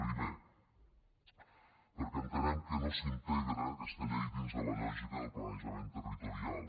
primer perquè entenem que no s’integra aquesta llei dins de la lògica del planejament territorial